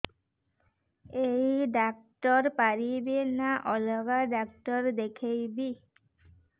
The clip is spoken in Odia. ଏଇ ଡ଼ାକ୍ତର ପାରିବେ ନା ଅଲଗା ଡ଼ାକ୍ତର ଦେଖେଇବି